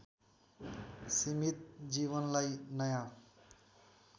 सिमित जीवनलाई नयाँ